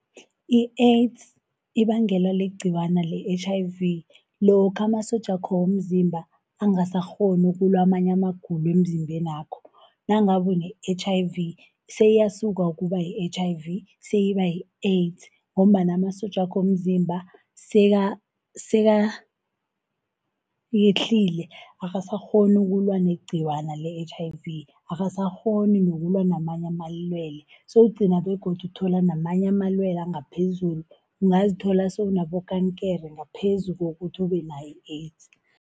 I-AIDS ibangelwa ligciwana le-H_I_V lokha amasotjakho womzimba angasakghoni ukulwa amanye amagulo emzimbenakho. Nangabe une-H_I_V seyiyasuka ukuba yi-H_I_V seyiba yi-AIDS ngombana amasotjakho womzimba sekayehlile. Akasakghoni ukulwa negciwane le-H_I_V, akasakghoni nokulwa namanye amalwele, sowugcina begodu uthola namanye amalwele angaphezulu. Ungazithola sewunabokankere, ngaphezu kokuthi ube nayo i-AIDS.